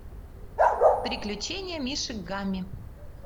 приключения мишек гамми